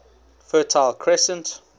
fertile crescent